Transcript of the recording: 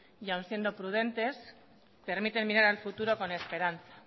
y aun siendo prudentes permite mirar al futuro con esperanza